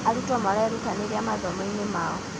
arutwo marerũtanĩria mathomo-inĩ mao